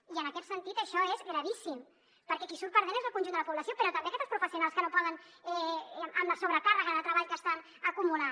i en aquest sentit això és gravíssim perquè qui hi surt perdent és el conjunt de la població però també tots els professionals que no poden amb la sobrecàrrega de treball que estan acumulant